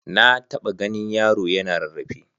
Na taɓa ganin yaro yana rarrafe.